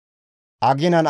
« ‹Aginan